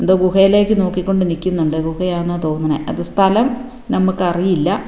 എന്തോ ഗുഹയിലേക്ക് നോക്കിക്കൊണ്ട് നിൽക്കുന്നുണ്ട് ഗുഹയാണെന്നാ തോന്നണെ അത് സ്ഥലം നമ്മക്ക് അറിയില്ല.